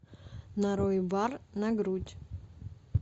нарой бар на грудь